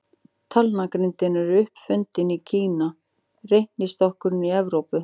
Talnagrindin er upp fundin í Kína, reiknistokkurinn í Evrópu.